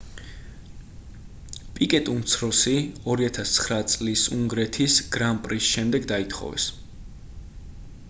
პიკეტ უმცროსი 2009 წლის უნგრეთის გრან პრის შემდეგ დაითხოვეს